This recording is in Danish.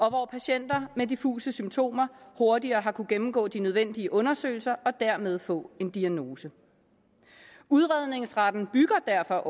hvor patienter med diffuse symptomer hurtigere har kunnet gennemgå de nødvendige undersøgelser og dermed få en diagnose udredningsretten bygger derfor